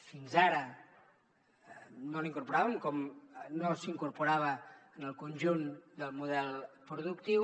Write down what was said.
fins ara no la incorporàvem com no s’incorporava en el conjunt del model productiu